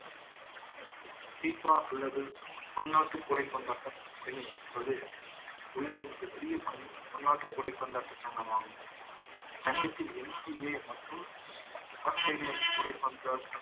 தீபா அல்லது பன்னாட்டு உலகில் மிகப் பெரிய பன்னாட்டு சங்கமாகும். இச்சங்கத்தில் NTA மற்றும் australian விதைப்பந்து